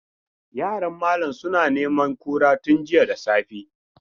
Yaran malam suna neman kura tun jiya da safe.